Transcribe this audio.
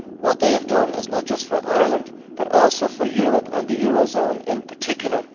What they have done is not just for Ireland but also for Europe and the eurozone in particular.